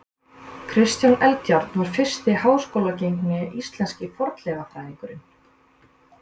Kristján Eldjárn var fyrsti háskólagengni íslenski fornleifafræðingurinn.